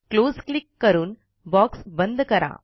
close click करून box बंद करा